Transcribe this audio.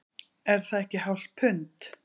Er það ekki hálft pund